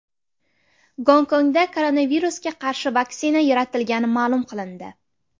Gonkongda koronavirusga qarshi vaksina yaratilgani ma’lum qilindi.